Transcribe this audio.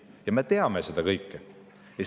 Ja me teame seda kõike.